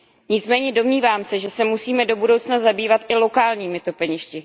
Nicméně domnívám se, že se musíme do budoucna zabývat i lokálními topeništi.